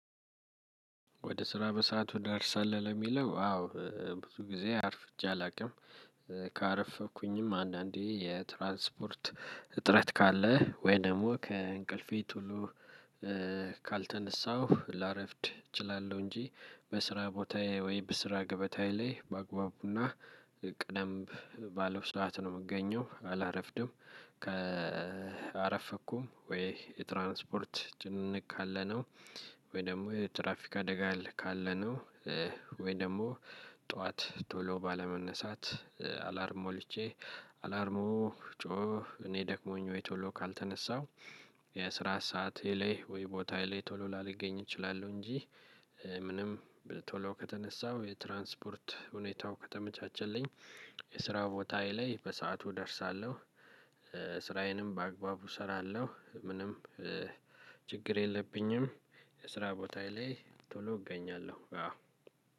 ወደ ስራ በሰአቱ ትደርሳለህ ለሚለው አዎ ብዙ ጊዜ አርፍጄ አላውቅም። ካረፈድኩኝም አንዳንዴ የትራንስፖርት ጥረት ካለ ወይ ደሞ ከእንቅልፌ ቶሎ ካልተነሳሁ ላረፍድ እችላለሁ። እንጂ በስራ ቦታዬ ወይም በስራ ገበታዬ ላይ ባግባቡና ቀደም ባለ ሰዓት ነው እምገኘው አላረፍድም። ከአረፈኩም ወይ የትራንስፖርት ጭንቅንቅ ካለ ነው። ወይ ደግሞ የትራፊካ አደጋ ካለ ነው። ወይ ደግሞ ጥዋት ቶሎ ባለመነሳት አላርም ሞልቼ አላርሙ ጮህ እኔ ደክሞኝ ወይ ቶሎ ካልተነሳሁ የአስራ ሰዓቴ ላይ ወይ ቦታየ ላይ ቶሎ ላሊገኝ እችላለሁ። እንጂ ምንም ቶሎ ከተነሳው የትራንስፖርት ሁኔታው ከተመቻቸልኝ የስራ ቦታዬ ላይ በሰአቱ እደርሳለሁ። ስራዬንም በአግባቡ እሰራለሁ። ምንም ችግር የለብኝም። የስራ ቦታየ ላይ ቶሎ እገኛለሁ አዎ።